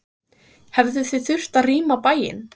Hjördís Rut: Hefðuð þið þurft að rýma bæinn?